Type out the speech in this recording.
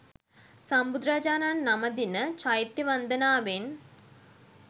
සම්බුදුරජාණන් නමදින චෛත්‍ය වන්දනාවෙන්